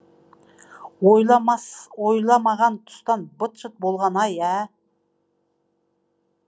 ойламаған тұстан быт шыт болған ай ә